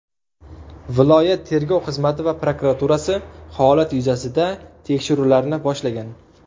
Viloyat tergov xizmati va prokuraturasi holat yuzasida tekshiruvlarni boshlagan.